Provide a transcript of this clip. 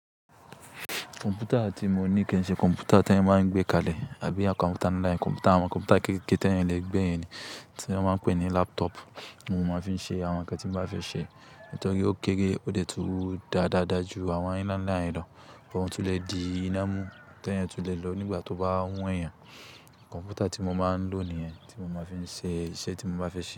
Kọ̀m̀pútà tí mo ní kì í ṣe kọ̀m̀pútà tí wọ́n máa ń gbé kalẹ̀ àbí kọ̀m̀pútà online. Kọ̀m̀pútà àwọn kọ̀m̀pútà kékeké tí ẹ̀yan lè gbé yen ni tí wọ́n máa ń pè ní laptop ni mo máa fi ń ṣe àwọn ń kan tí mo bá fẹ́ ṣe. Ní́torí ó kéré, ó dẹ̀ tú dáadáa ju àwọn ilanla yen lọ, but oun tu lè di iná mú, t'eyan tun lè lọ nígbà tó bá wùneyan. Kọ̀m̀pútà ti mo máa ń lò nìyẹn ti mo máa fi ń ṣe iṣẹ́ tí mo bá fẹ́ ṣe.